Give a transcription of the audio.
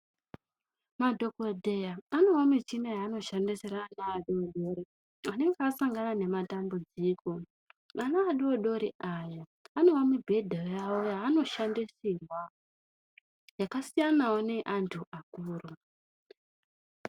Madhokodheya anewo michini yaano shandisira ana adodori anenge asangana ne matambudziko vana vadodori aya anewo mibhedha yavo yaano shandisirwa yaka siyanawo neye antu akuru.